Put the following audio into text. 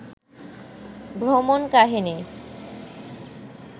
ভ্রমণ কাহিনী